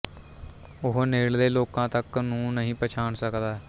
ਉਹ ਨੇੜਲੇ ਲੋਕਾਂ ਤੱਕ ਨੂੰ ਨਹੀਂ ਪਛਾਣ ਸਕਦਾ